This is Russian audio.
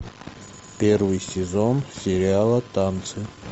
первый сезон сериала танцы